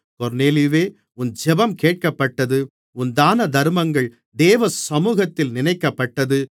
கொர்நேலியுவே உன் ஜெபம் கேட்கப்பட்டது உன் தானதருமங்கள் தேவ சமுகத்தில் நினைக்கப்பட்டது